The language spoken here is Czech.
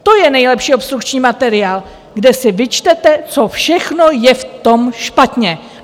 To je nejlepší obstrukční materiál, kde si vyčtete, co všechno je v tom špatně.